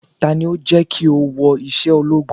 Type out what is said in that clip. Tani ó jẹ́ kí o wọ iṣẹ́ ológun?